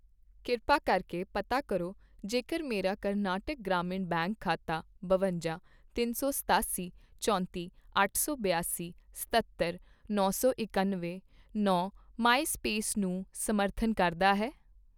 ਕਿਰਪਾ ਕਰਕੇ ਪਤਾ ਕਰੋ ਜੇਕਰ ਮੇਰਾ ਕਰਨਾਟਕ ਗ੍ਰਾਮੀਣ ਬੈਂਕ ਖਾਤਾ ਬਵੰਜ਼ਾ, ਤਿਨ ਸੌ ਸਤਾਸੀ, ਚੌਂਤੀ, ਅੱਠ ਸੌ ਬਿਆਸੀ, ਸਤੱਤਰ, ਨੌ ਸੌ ਇਕੱਨਵੇਂ, ਨੌ ਮਾਈਸਵਾਈਪ ਨੂੰ ਸਮਰਥਨ ਕਰਦਾ ਹੈ?